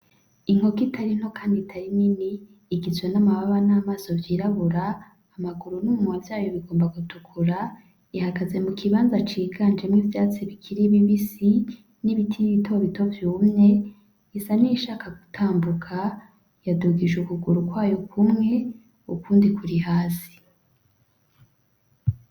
Inkoko itari nto kandi itari nini , igizwe n’amababa n’amaso vyirabura , amaguru n’umunwa vyayo bigomba gutukura , ihagaze mu kibanza ciganjemwo ivyatsi bikiri bibisi n’ibiti bito bito vyumye isa n’iyishaka gutambuka yadugije ukuguru kwayo kumwe ukundi kuri hasi.